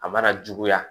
A mana juguya